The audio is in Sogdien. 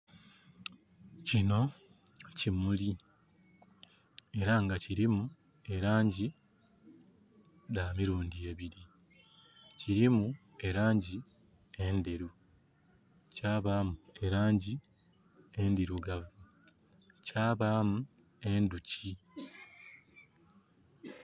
Kino kimuli era nga kilimu elangi dha mirundi ebili. Kilimu elangi endheru, kya baamu elangi endhirugavu. Kyabaamu endhoki.